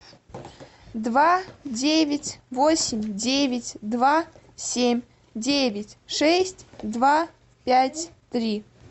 два девять восемь девять два семь девять шесть два пять три